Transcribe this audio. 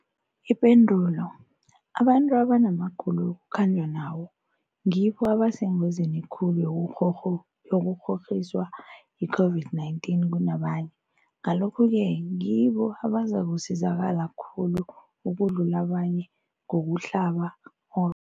Ipendulo, abantu abanamagulo ekukhanjwa nawo ngibo abasengozini khulu yokukghokghiswa yi-COVID-19 kunabanye, Ngalokhu-ke ngibo abazakusizakala khulu ukudlula abanye ngokuhlaba, ngo